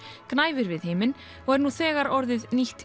gnæfir við himin og er nú þegar orðið nýtt